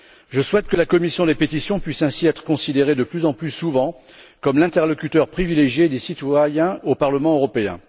Je souhaite que la commission des pétitions puisse ainsi être considérée de plus en plus souvent comme l'interlocuteur privilégié des citoyens au Parlement européen.